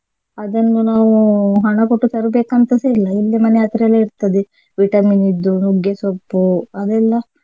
ಅದನ್ನು ನಾವು ಹಣ ಕೊಟ್ಟು ತರಬೇಕಂತಸ ಇಲ್ಲ ಇಲ್ಲೇ ಮನೆ ಹತ್ರ ಎಲ್ಲ ಇರ್ತದೆ vitamin ದ್ದು ನುಗ್ಗೆಸೊಪ್ಪು ಅದೆಲ್ಲ.